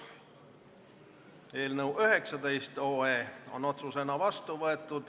Eelnõu 19 on otsusena vastu võetud.